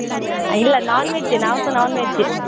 ಇಲ್ಲ non-veg ಏ ನಾವ್ಸ non-veg ಏ.